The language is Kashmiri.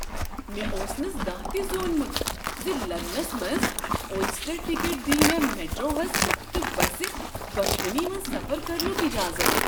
مےٚ اوس نہٕ زانٛہہ تہ زونمُت ز لندنس منٛز اوسٹر ٹکٹ دیہ مےٚ میٹروہس تہٕ بسہِ دۄشوٕنۍ منٛز سفر کرنُک اجازت۔